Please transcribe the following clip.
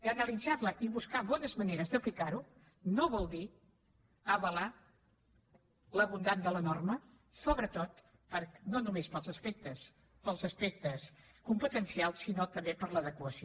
i analitzar la i buscar bones mane res d’aplicar ho no vol dir avalar la bondat de la norma sobretot no només pels aspectes competencials sinó també per l’adequació